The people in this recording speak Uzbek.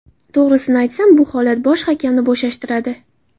To‘g‘risini aytsam, bu holat bosh hakamni bo‘shashtiradi.